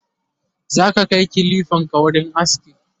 zaka Kai kilifanka wurin aski?